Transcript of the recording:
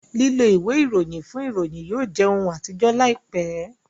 lilọ ìwé Ìròyìn fún ìròyìn yóò jẹ òún atijọ láìpé.